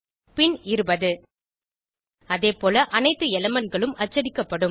பின் 20 அதேபோல அனைத்து elementகளும் அச்சடிக்கப்படுகின்றன